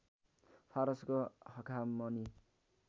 फारसको हखामनी